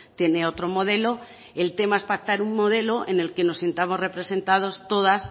tiene otro modelo el tema es pactar un modelo en el que nos sintamos representados todas